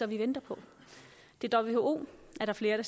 vi venter på who er der flere